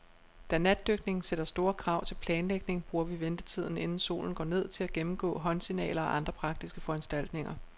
Da natdykning sætter store krav til planlægning, bruger vi ventetiden, inden solen går ned, til at gennemgå håndsignaler og andre praktiske foranstaltninger.